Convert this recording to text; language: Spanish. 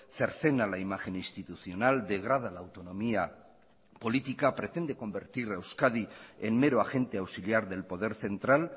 cercena la imagen institucional degrada la autonomía política pretende convertir a euskadi en mero agente auxiliar del poder central